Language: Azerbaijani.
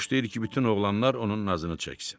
Xoşlayır ki, bütün oğlanlar onun nazını çəksin.